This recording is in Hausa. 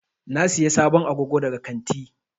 Na Siya sabon agogo daga kantin.